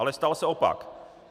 Ale stal se opak.